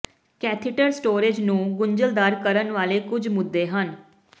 catheter storage ਨੂੰ ਗੁੰਝਲਦਾਰ ਕਰਨ ਵਾਲੇ ਕੁਝ ਮੁੱਦੇ ਹਨ